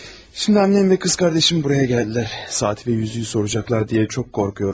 Şimdi annem ve qız qardaşım buraya gəldilər, saat və üzüyü soracaqlar deyə çox qorxuram.